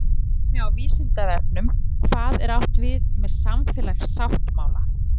Frekara lesefni á Vísindavefnum Hvað er átt við með samfélagssáttmála?